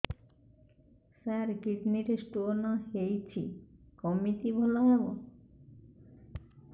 ସାର kidney ରେ stone ହେଇଛି କମିତି ଭଲ ହେବ